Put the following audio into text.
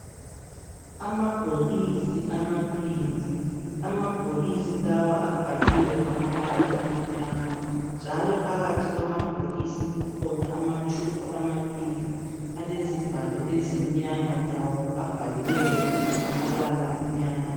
Amabhokisi amabili amabhokisi lawa abhaliwe ngamabala amnyama njalo phakathi kwamabhokisi kukhona amatshubhu amabili alezivalo ezimnyama lawo abhaliweyo ngamabala amnyama.